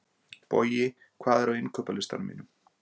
Bogi, hvað er á innkaupalistanum mínum?